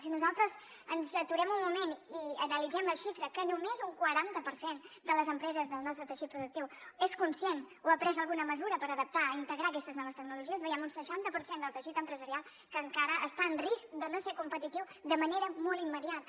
si nosaltres ens aturem un moment i analitzem la xifra que només un quaranta per cent de les empreses del nostre teixit productiu és conscient o ha pres alguna mesura per adaptar o integrar aquests noves tecnologies veiem un seixanta per cent del teixit empresarial que encara està en risc de no ser competitiu de manera molt immediata